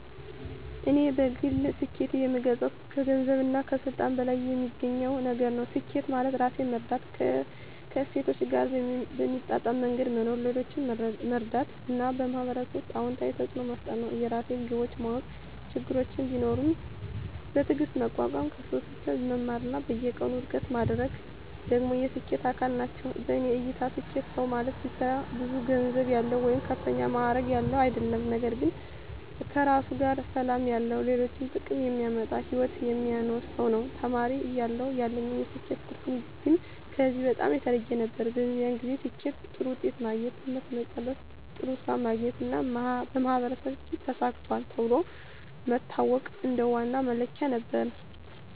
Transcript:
እኔ በግል ስኬትን የምገልጸው ከገንዘብና ከስልጣን በላይ የሚገኝ ነገር ነው። ስኬት ማለት ራሴን መረዳት፣ ከእሴቶቼ ጋር በሚጣጣም መንገድ መኖር፣ ሌሎችን መርዳት እና በማህበረሰብ ውስጥ አዎንታዊ ተፅዕኖ መፍጠር ነው። የራሴን ግቦች ማወቅ፣ ችግሮችን ቢኖሩም በትዕግስት መቋቋም፣ ከስህተቶቼ መማር እና በየቀኑ እድገት ማድረግ ደግሞ የስኬት አካል ናቸው። በእኔ እይታ ስኬታማ ሰው ማለት ብቻ ብዙ ገንዘብ ያለው ወይም ከፍተኛ ማዕረግ ያለው አይደለም፤ ነገር ግን ከራሱ ጋር ሰላም ያለው፣ ለሌሎች ጥቅም የሚያመጣ ሕይወት የሚኖር ሰው ነው። ተማሪ እያለሁ ያለኝ የስኬት ትርጉም ግን ከዚህ በጣም የተለየ ነበር። በዚያን ጊዜ ስኬትን በጥሩ ውጤት ማግኘት፣ ትምህርት መጨረስ፣ ጥሩ ሥራ ማግኘት እና በማህበረሰብ ፊት “ተሳክቷል” ተብሎ መታወቅ እንደ ዋና መለኪያ ነበር።